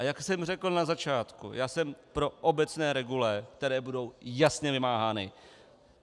A jak jsem řekl na začátku, já jsem pro obecné regule, které budou jasně vymáhány.